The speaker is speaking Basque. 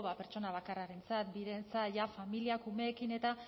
pertsona bakarrarentzat birentzat ja familiak umeekin eta